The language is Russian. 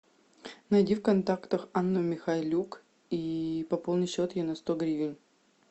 найди в контактах анну михайлюк и пополни счет ей на сто гривен